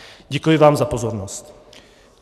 Děkuji vám za pozornost.